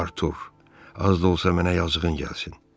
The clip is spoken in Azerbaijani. Artur, az da olsa mənə yazığın gəlsin.